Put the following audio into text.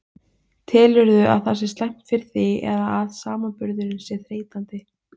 Telurðu að það sé slæmt fyrir þig eða að samanburðurinn sé þreytandi?